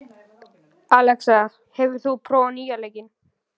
Alexa, hefur þú prófað nýja leikinn?